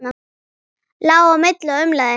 Lá á milli og umlaði.